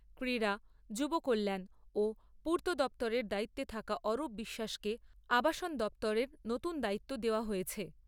ক্রীড়া , যুব কল্যান ও পূর্ত দপ্তরের দায়িত্বে থাকা অরূপ বিশ্বাসকে আবাসন দপ্তরের নতুন দায়িত্ব দেওয়া হয়েছে ।